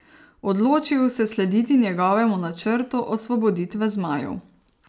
Odločijo se slediti njegovemu načrtu osvoboditve zmajev.